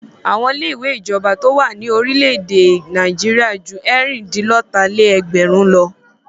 Awọn ilé-ìwé ìjọba tó wà ní orílẹ̀-èdè Nàìjíríà ju ẹ̀rìn-dín-lọ́tà-lé-ẹgbẹrún lọ.